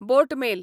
बोट mail